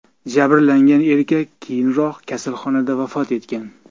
Jabrlangan erkak keyinroq kasalxonada vafot etgan.